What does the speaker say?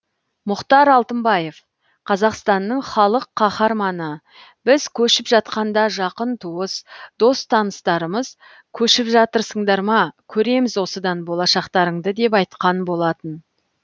мұхтар алтынбаев қазақстанның халық қаһарманы біз көшіп жатқанда жақын туыс дос таныстарымыз көшіп жатырсыңдар ма көреміз осыдан болашақтарыңды деп айтқан болатын